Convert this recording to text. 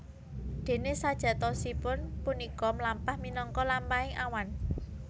Déné sajatosipun punika mlampah minangka lampahaning awan